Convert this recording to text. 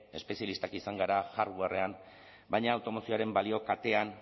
espezialistak izan gara hardwarean baina automozioaren balio katean